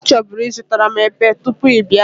O choburu izutaram epe tupu ị bia